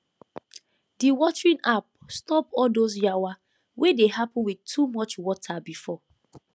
the watering app stop all those yawa wey dey happen with too much water before